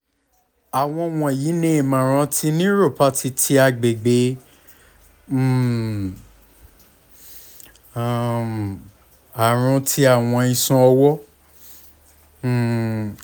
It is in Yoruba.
awọn wọnyi ni imọran ti neuropathy ti agbegbe - um um arun ti awọn iṣan ọwọ um